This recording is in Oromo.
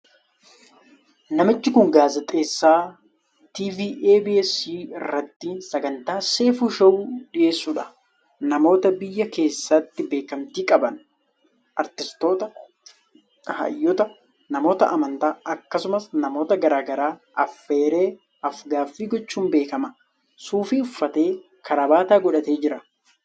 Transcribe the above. Namichi kun gaazexeessaa TV EBS irratti sagantaa 'Seifu Show' dhiheessuudha. Namoota biyya keessatti beekamtii qaban, aartistoota, hayyoota, namoota amantaa, akkasumas namoota garaa garaa afeeree af-gaaffii gochuun beekama. Suufii uffatee, kaarabaata godhatee jira.